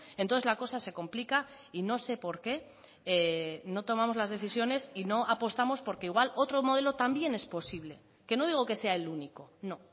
entonces la cosa se complica y no sé por qué no tomamos las decisiones y no apostamos porque igual otro modelo también es posible que no digo que sea el único no